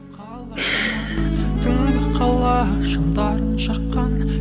қала тұман түнгі қала шамдарын жаққан